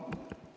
Jaa.